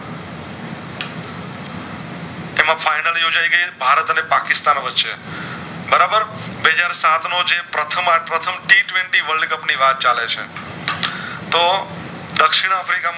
ભારત અને પકિશતાન વચ્ચે બરાબર બે હાજર સાત નો જે પ્રથમ T Twenty World Cup ની વાત ચલે છે તો દક્ષિણ આફ્રિકામાં